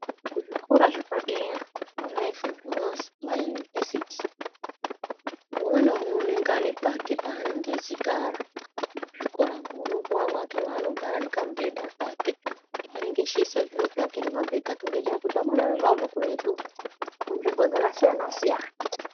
Kuzvikora zvepadera Mona izvo munonzi univhesiti umwe naumwe anenge ane pake panenge echigara muzvikoramwo unopuwa mwake manenge echigara nekamubhedha kake manenge achiisa zviro zvake nemabhegi ake ngenda yekuti vamweni vanenge vabva kuretu munzvimbo dzakasiyana siyana.